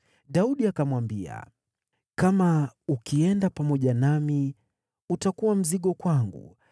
Daudi akamwambia, “Kama ukienda pamoja nami, utakuwa mzigo kwangu.